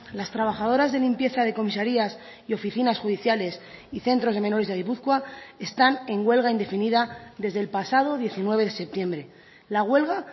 las trabajadoras de limpieza de comisarías y oficinas judiciales y centros de menores de gipuzkoa están en huelga indefinida desde el pasado diecinueve de septiembre la huelga